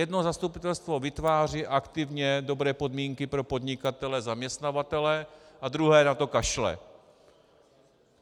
Jedno zastupitelstvo vytváří aktivně dobré podmínky pro podnikatele zaměstnavatele a druhé na to kašle.